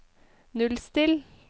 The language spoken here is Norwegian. nullstill